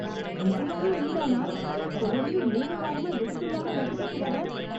நிஜமாவே நீதானா, தொடர்ந்து மூணு வாரமா விடுப்பு இல்லாம வகுப்புக்கு வர்ற!